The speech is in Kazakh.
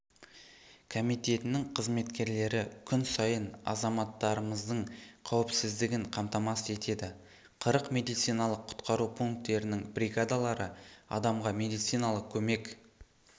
комитетінің қызметкерлері күн сайын азаматтарымыздың қауіпсіздігін қамтамасыз етеді қырық медициналық-құтқару пункттерінің бригадалары адамға медициналық көмек